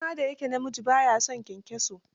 Shi ma da ya ke namiji, ba ya son kyankyaso.